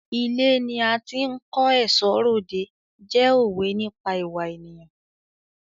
Ilé ni a ti ń kó ẹ̀ṣọ́ r'òde jẹ́ òwe nípa ìwà ènìyàn.